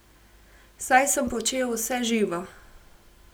Saj sem počel vse živo.